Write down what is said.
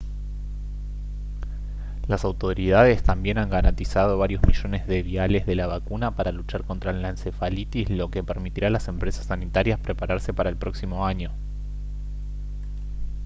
las autoridades también han garantizado varios millones de viales de la vacuna para luchar contra la encefalitis lo que permitirá a las empresas sanitarias prepararse para el próximo año